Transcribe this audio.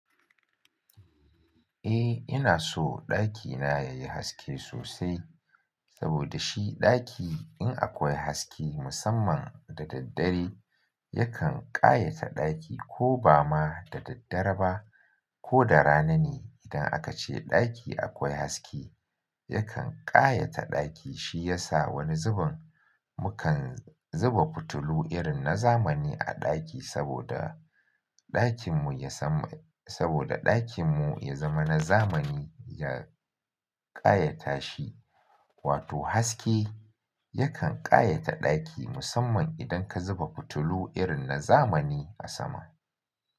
Eh, ina so ɗakina yayi haske sosai. Saboda shi ɗaki in akwai haske musamman da daddare yakan ƙayata ɗaki ko ba ma da daddare ba ko da rana ne idan aka ce ɗaki akwai haske yakan ƙayata ɗaki. Shi yasa wani zubin mukan zuba fitilu irin na zamani a ɗaki saboda ɗakin mu ya zama, saboda ɗakin mu ya zama na zamani ya ƙayata shi. Wato haske yakan ƙayata ɗaki musamman idan ka zuba fitilu irin na zamani a sama.